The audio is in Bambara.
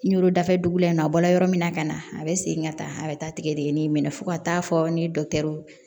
Ɲorodafɛ dugu la yen nɔ a bɔla yɔrɔ min na ka na a bɛ segin ka taa a bɛ taa tigɛdeni in minɛ fo ka taa fɔ ni dɔkitɛriw